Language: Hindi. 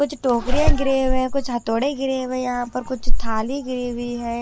कुछ टोकरिया गिरी हुई हैं कुछ हटौड़े गिरे हुए हैं यहां पर कुछ थाली गिरी हुई है।